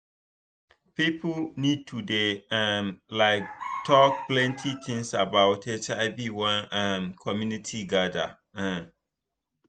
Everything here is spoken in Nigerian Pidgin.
people need to dey um like talk plenty things about hiv when um community gather um